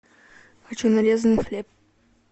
хочу нарезанный хлеб